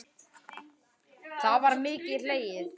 þá var mikið hlegið.